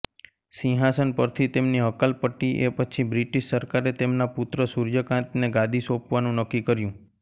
સિંહાસન પરથી તેમની હકાલપટ્ટીએ પછી બ્રિટિશ સરકારે તેમના પુત્ર સૂર્યકાંતને ગાદી સોંપવાનું નક્કી કર્યું